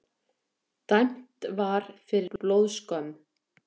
dæmt var fyrir blóðskömm